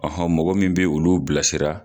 mɔgɔ min bi olu bilasira.